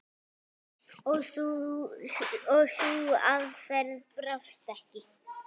Og sú aðferð brást ekki.